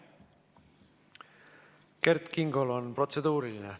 Kert Kingol on protseduuriline.